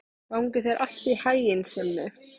Gangi þér allt í haginn, Simmi.